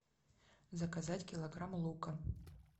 заказать килограмм лука